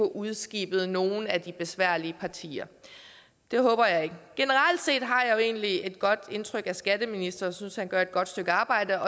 udskibet nogle af de besværlige partier det håber jeg ikke generelt set har jeg jo egentlig et godt indtryk af skatteministeren jeg synes han gør et godt stykke arbejde